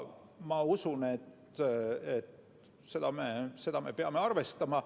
Ma usun, et seda me peame arvestama.